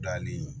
Danni